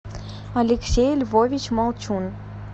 алексей львович молчун